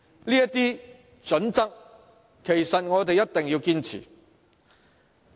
這些準則，我們一定要堅持。